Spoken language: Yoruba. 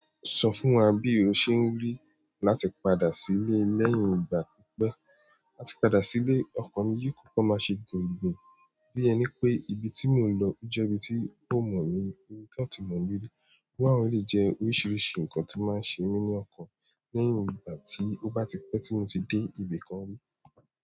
Sọ fún wa bí o ṣe ń rí láti padà sílé lẹ́yìn ìgbà pípẹ́. Láti padà sí ilé, ọkàn mi yóò kòkò máa ṣe jùǹgbùm, bí ẹni pé ibi tí mò ń lọ jẹ́ ibi tí kàn mọ̀ mí, ibi tán-àn ti mọ̀ mí rí. Wọn a lè jẹ oríṣiríṣi nǹkan tí máa ṣe mí ní ọkọ̀ lẹ́yìn ìgbà tí ó bá ti pẹ́ tí mo ti dé ibì kan rí.